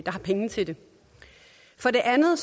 har penge til det for det andet